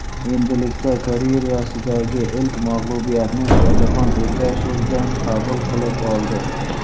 Endilikda karyerasidagi ilk mag‘lubiyatni Shohjahon Ergashevdan qabul qilib oldi.